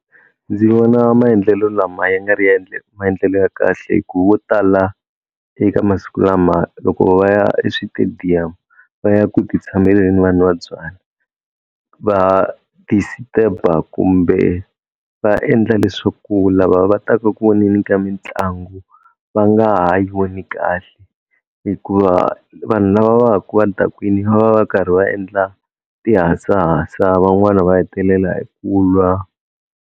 Ndzi vona maendlelo lama ya nga ri maendlelo ya kahle hi ku vo tala eka masiku lama loko va ya eswitediyamu va ya ku ti tshameleni vanwa va byalwa va disturber kumbe va endla leswaku lava va ta ka ku voneni ka mitlangu va nga ha yi voni kahle hikuva vanhu lava va ku va dakwini va va va karhi va endla tihasahasa van'wana va hetelela hi ku lwa.